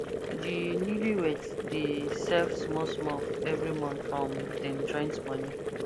di newlyweds dey save small small every month from dem joint money